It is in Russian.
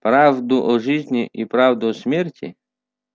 правду о жизни и правду о смерти